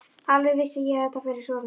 Alveg vissi ég að þetta færi svona!